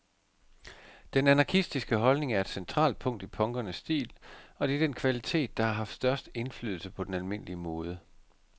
Den anarkistiske holdning er et centralt punkt i punkernes stil, og det er den kvalitet, der har haft størst indflydelse på den almindelige mode.